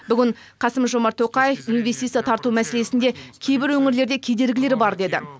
бүгін қасым жомарт тоқаев инвестиция тарту мәселесінде кейбір өңірлерде кедергілер бар деді